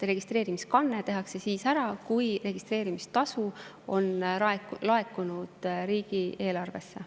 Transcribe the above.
Registreerimiskanne tehakse siis ära, kui registreerimistasu on laekunud riigieelarvesse.